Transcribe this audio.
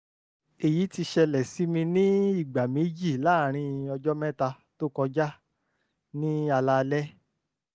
èyí ti ṣẹlẹ̀ sí mi ní ìgbà méjì láàárín ọjọ́ mẹ́ta tó kọjá ní alaalẹ́